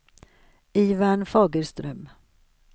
Ivan Fagerström